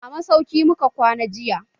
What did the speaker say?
A masauki muka kwana jiya.